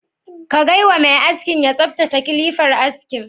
Ka gaywa mai askin ya tsaftace kilifar askin?